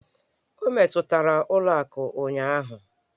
O metụtara ụlọ akụ ụnyaahụ?